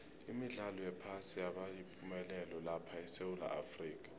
imidlalo yephasi yabayipumelelo lapha esewula afrika